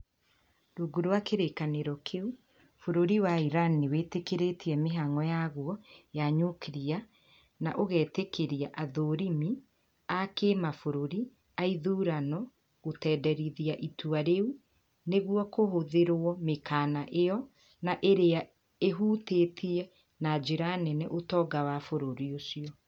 Rungu rwa kĩrĩkanĩro kĩu, bũrũri wa Iran nĩ wĩtĩkĩrtĩie mĩhango yaguo ya Nyuklia na ũgetĩkĩria athũrimi a kĩmabũrũri a ithurano gutenderithia itua riu niguo kũhũthĩrio mĩkana ĩyo na ĩrĩa ĩhutĩtie na njira nene ũtonga wa bũrũri ucio